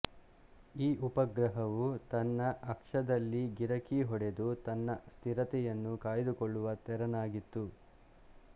ಈ ಉಪಗ್ರಹವು ತನ್ನ ಅಕ್ಷದಲ್ಲಿ ಗಿರಕಿ ಹೊಡೆದು ತನ್ನ ಸ್ಥಿರತೆಯನ್ನು ಕಾಯ್ದುಕೊಳ್ಳುವ ತೆರನಾಗಿತ್ತು